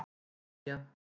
Bólivía